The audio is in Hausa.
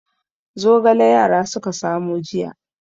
Zogale yara suka samo jiya.